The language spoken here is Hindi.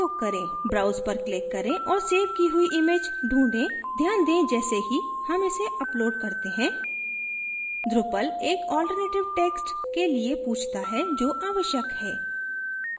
browse पर click करें और सेव की हुई image ढूँढें ध्यान दें जैसे ही हम इसे upload करते हैं drupal एक alternative text के लिए पूछता है जो आवश्यक है